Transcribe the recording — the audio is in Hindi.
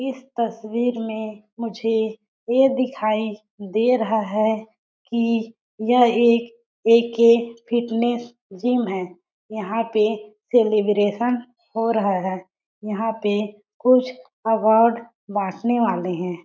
इस तस्वीर में मुझे ये दिखाई दे रहा है कि यह एक ए.के. फ़िटनेस जिम है यहाँ पे सेलीब्रेशन हो रहा है यहाँ पे कुछ अवार्ड बाँटने वाले है।